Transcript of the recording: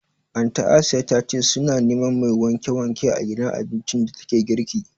Anty Asiya ta ce su na neman mai wanke wanke a gidan abincin da ta ke girki